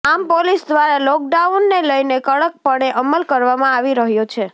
આમ પોલીસ દ્વારા લોકડાઉનને લઇને કડક પણે અમલ કરાવામાં આવી રહ્યો છે